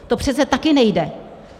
To přece taky nejde!